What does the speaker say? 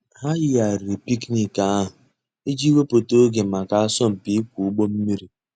Hà yìghàrìrì picnic àhụ̀ íjì wépụ̀tà ògè mǎká àsọ̀mpị íkwọ̀ ǔgbọ̀ mmìrì.